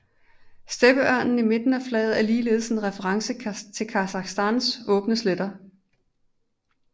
Steppeørnen i midten af flaget er ligeledes en reference til Kasakhstans åbne sletter